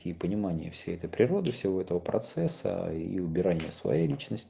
те и понимание всей этой природы всего этого процесса и убирания своей личнос